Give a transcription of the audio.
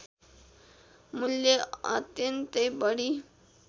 मूल्य अत्यन्तै बढी